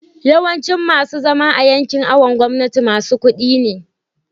yawancin masu zama a yankin awon gomnati masu kudi ne